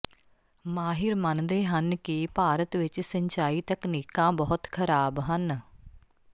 ਮਾਹਿਰ ਮੰਨਦੇ ਹਨ ਕਿ ਭਾਰਤ ਵਿਚ ਸਿੰਚਾਈ ਤਕਨੀਕਾਂ ਬਹੁਤ ਖ਼ਰਾਬ ਹਨ